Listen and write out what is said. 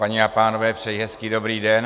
Paní a pánové, přeji hezký dobrý den.